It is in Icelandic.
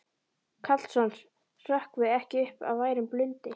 Karlsson hrökkvi ekki upp af værum blundi.